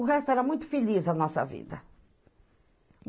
O resto era muito feliz a nossa vida.